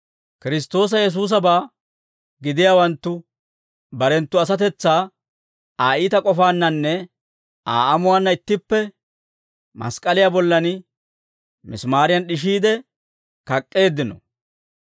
Kiristtoosa Yesuusabaa gidiyaawanttu barenttu asatetsaa Aa iita k'ofaannanne Aa amuwaanna ittippe mask'k'aliyaa bollan misimaariyan d'ishiide kak'k'eeddino.